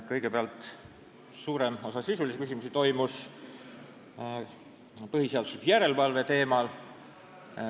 Kõigepealt, suurem osa sisulisi küsimusi oli põhiseaduslikkuse järelevalve teemal.